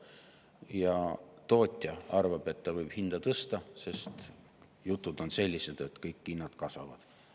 Ja tootja arvab, et ta võib hinda tõsta, sest jutud on sellised, et kõik hinnad kasvavad.